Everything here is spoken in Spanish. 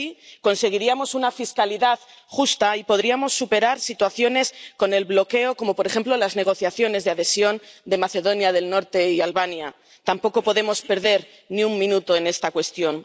Y así conseguiríamos una fiscalidad justa y podríamos superar situaciones como el bloqueo, por ejemplo, de las negociaciones de adhesión de Macedonia del Norte y Albania. Tampoco podemos perder ni un minuto en esta cuestión.